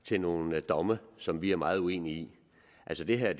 til nogle domme som vi er meget uenige i altså det her er